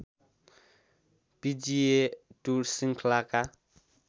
पिजिए tour श्रृङ्खलाका